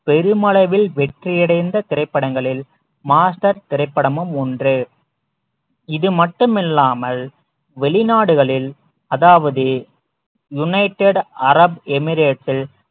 பெருமளவில் வெற்றி அடைந்த திரைப்படங்களில் மாஸ்டர் திரைப்படமும் ஒன்று இது மட்டுமில்லாமல் வெளிநாடுகளில் அதாவது united arab emerate ல்